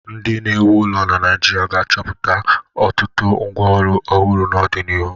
Ndi na-ewu ụlọ naijirịa ga-achọpụta ọ tụtụ ngwa ọrụ ọhụrụ n'ọdinihu.